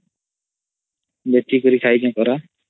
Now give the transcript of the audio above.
ଲୁଚି କରି ଖାଇଚେ କରା